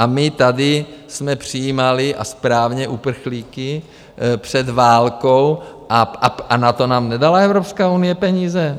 A my tady jsme přijímali, a správně, uprchlíky před válkou - a na to nám nedala Evropská unie peníze?